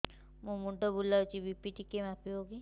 ମୋ ମୁଣ୍ଡ ବୁଲାଉଛି ବି.ପି ଟିକିଏ ମାପିବ କି